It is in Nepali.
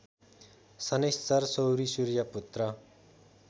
शनैश्चर सौरि सूर्यपुत्र